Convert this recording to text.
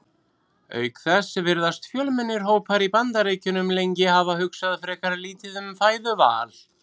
Auk þess virðast fjölmennir hópar í Bandaríkjunum lengi hafa hugsað frekar lítið um fæðuval.